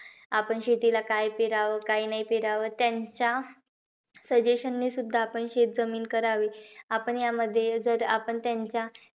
आपण शेतीला काय पेरावं, काय नाही पेरावं. त्यांच्या suggestion ने सुद्धा आपण शेतजमीन करावी. आपण यामध्ये, जर आपण त्यांच्या,